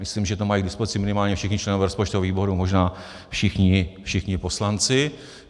Myslím, že to mají k dispozici minimálně všichni členové rozpočtového výboru, možná všichni poslanci.